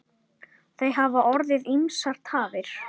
Það hafa orðið ýmsar tafir.